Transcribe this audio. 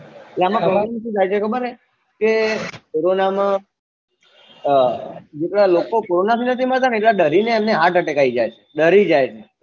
કે કોરોનામાં અર જેટલા લોકો કોરોના થી નથી મરતા એટલા ડરીને એમને હાર્ટ એટક આઈ જાયે છે ડરી જાયે છે